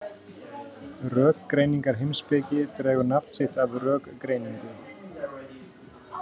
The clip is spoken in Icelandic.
Rökgreiningarheimspeki dregur nafn sitt af rökgreiningu.